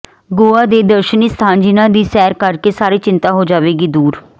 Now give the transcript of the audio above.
ਗੋਆ ਦੇ ਦਰਸ਼ਨੀ ਸਥਾਨ ਜਿਨ੍ਹਾਂ ਦੀ ਸੈਰ ਕਰ ਕੇ ਸਾਰੀ ਚਿੰਤਾ ਹੋ ਜਾਵੇਗੀ ਦੂਰ